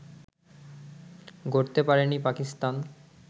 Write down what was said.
গড়তে পারেনি পাকিস্তান